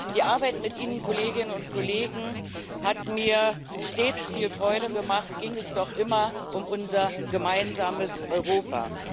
Die Arbeit mit Ihnen, Kolleginnen und Kollegen, hat mir stets viel Freude gemacht, ging es doch immer um unser gemeinsames Europa.